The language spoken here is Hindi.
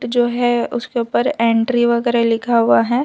जो है उसके ऊपर एंट्री वगैरा लिखा हुआ है।